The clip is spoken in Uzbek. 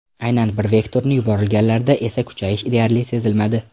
Aynan bir vektorni yuborilganlarda esa kuchayish deyarli sezilmadi.